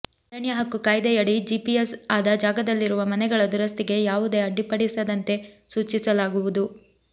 ಅರಣ್ಯ ಹಕ್ಕು ಕಾಯ್ದೆಯಡಿ ಜಿಪಿಎಸ್ ಆದ ಜಾಗದಲ್ಲಿರುವ ಮನೆಗಳ ದುರಸ್ತಿಗೆ ಯಾವುದೇ ಅಡ್ಡಿಪಡಿಸದಂತೆ ಸೂಚಿಸಲಾಗುವುದು